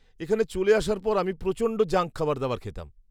-এখানে চলে আসার পর আমি প্রচণ্ড জাঙ্ক খাবার দাবার খেতাম।